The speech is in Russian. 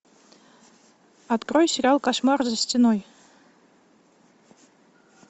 открой сериал кошмар за стеной